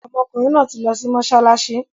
Ọmọkùnrin náà ti lọ sí mọ́ṣáláṣí